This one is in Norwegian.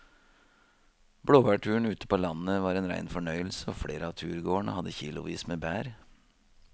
Blåbærturen ute på landet var en rein fornøyelse og flere av turgåerene hadde kilosvis med bær.